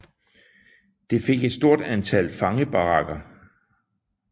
Det fik et stort antal fangebarakker